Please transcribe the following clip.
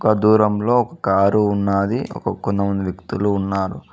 ఒక దూరంలో ఒక కారు ఉన్నాది ఒక కొంతమంది వ్యక్తులు ఉన్నారు.